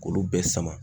K'olu bɛɛ sama